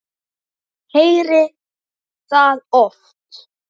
Ég heyrði það oft.